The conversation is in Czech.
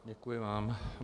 Děkuji vám.